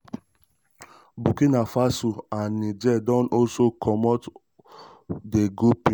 burkina faso and um niger don also commot also commot di grouping.